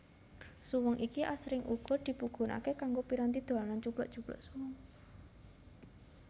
Suweng iki asring uga dipigunakaké kanggo piranti dolanan cublak cublak suweng